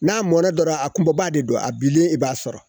N'a mɔnɛ dɔrɔn, a kunba de don , a binen, i b'a sɔrɔ.